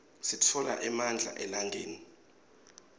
sitfola emandla elangeni